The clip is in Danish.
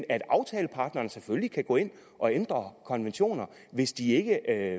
at aftalepartnerne selvfølgelig kan gå ind og ændre konventioner hvis de ikke